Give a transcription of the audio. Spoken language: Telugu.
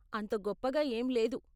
అంత గప్పగా ఏం లేదు.